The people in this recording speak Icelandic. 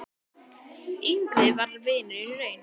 Ingvi var vinur í raun.